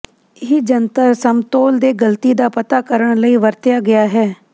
ਇਹ ਜੰਤਰ ਸਮਤੋਲ ਦੇ ਗਲਤੀ ਦਾ ਪਤਾ ਕਰਨ ਲਈ ਵਰਤਿਆ ਗਿਆ ਹੈ